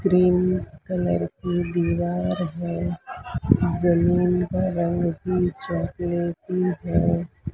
Cream colour की दीवार है जमीन का रंग भी चॉकलेटी है।